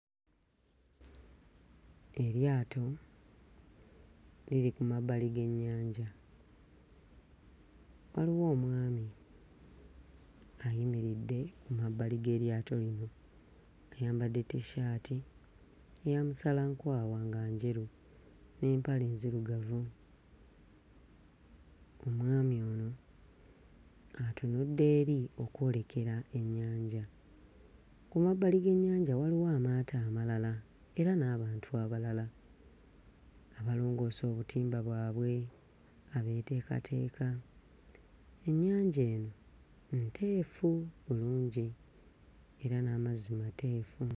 Eryato liri ku mabbali g'ennyanja, waliwo omwami ayimiridde ku mabbali g'eryato eryo, ayambadde Tshirt eya musalankwawa nga njeru n'empale nzirugavu. Omwami ono atunudde eri okwolekera ennyanja, ku mabbali g'ennyanja waliwo amaato amalala era n'abantu abalala abalongoosa obutimba bwabwe, abeeteekateeka ennyanja eno nteefu bulungi era n'amazzi mateefu.